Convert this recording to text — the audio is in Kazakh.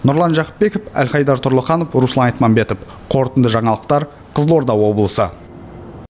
нұрлан жақыпбеков әлхайдар тұрлыханов руслан айтмамбетов қорытынды жаңалықтар қызылорда облысы